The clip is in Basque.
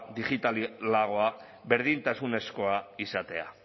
digitalagoa berdintasunezkoa izatea